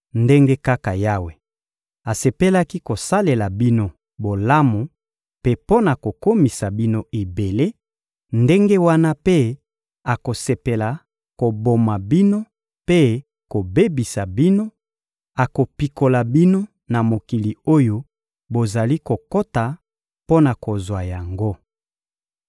Ndenge kaka Yawe asepelaki kosalela bino bolamu mpe mpo na kokomisa bino ebele, ndenge wana mpe akosepela koboma bino mpe kobebisa bino; akopikola bino na mokili oyo bozali kokota mpo na kozwa yango.